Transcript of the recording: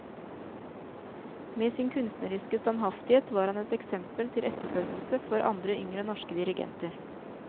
Med sin kunstneriske standhaftighet var han et eksempel til etterfølgelse for andre yngre norske dirigenter.